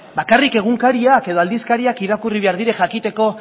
bakarrik egunkariak edo aldizkariak irakurri behar dira jakiteko